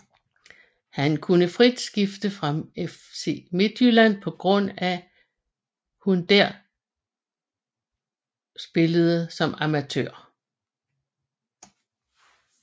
Hun kunne frit skifte fra FC Midtjylland på grund af hun der spillede som amatør